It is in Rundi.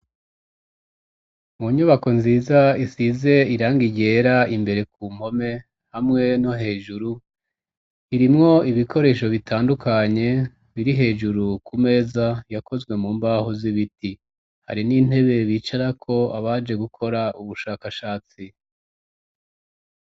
Mu nyubako nziza isize irangi ryera imbere ku mpome hamwe no hejuru, irimwo ibikoresho bitandukanye biri hejuru ku meza yakozwe mu mbaho z'ibiti. hari n'intebe bicarako abaje gukora ubushakashatsi.